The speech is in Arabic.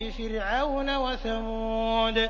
فِرْعَوْنَ وَثَمُودَ